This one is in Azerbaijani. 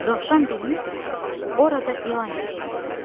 Dovşan bilmirdi ki, orada ilan yaşayır.